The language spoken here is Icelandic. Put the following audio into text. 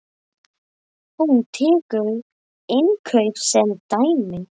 Hún tekur innkaup sem dæmi.